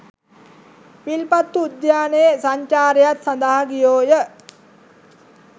විල්පත්තු උද්‍යානයේ සංචාරයක් සඳහා ගියෝය